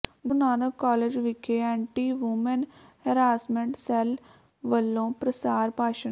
ਗੁਰੂ Nanak college ਵਿਖੇ anti women harassment cell ਵੱਲੋਂ ਪ੍ਰਸਾਰ ਭਾਸ਼ਣ